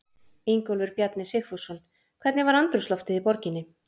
Ingólfur Bjarni Sigfússon: Hvernig var andrúmsloftið í borginni?